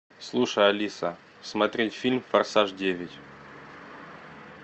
слушай алиса смотреть фильм форсаж девять